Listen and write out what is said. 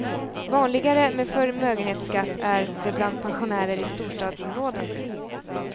Vanligare med förmögenhetsskatt är det bland pensionärer i storstadsområden.